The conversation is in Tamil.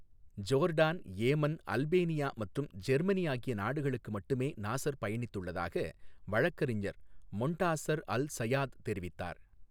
ஜோர்டான், ஏமன், அல்பேனியா மற்றும் ஜெர்மனி ஆகிய நாடுகளுக்கு மட்டுமே நாஸர் பயணித்துள்ளதாக வழக்கறிஞர் மொன்டாசர் அல் சயாத் தெரிவித்தார்.